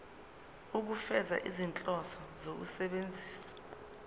ukufeza izinhloso zokusebenzisa